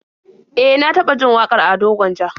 E, na taba jin wakar Ado Gwanja